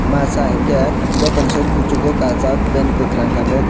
masa higkhe jotoni sei kuchuk o kajak pant kwkhwrang kanwi.